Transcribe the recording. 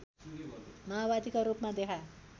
माओवादीका रूपमा देखा